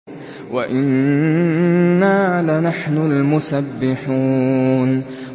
وَإِنَّا لَنَحْنُ الْمُسَبِّحُونَ